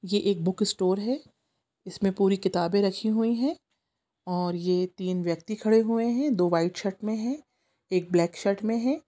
ये एक book store हैं इसमे पूरी किताबे रखी हुई हैं और ये तीन व्यक्ति खड़े हुए हैं दो व्हाइट शर्ट मे हैं एक ब्लैक शर्ट मे हैं।